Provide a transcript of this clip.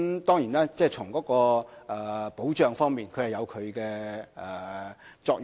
當然，從保障方面而言，有其作用。